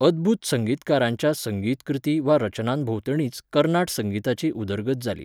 अदभूत संगीतकारांच्या संगीत कृतीं वा रचनांभोंवतणीच कर्नाट संगीताची उदरगत जाली.